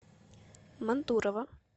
мантурово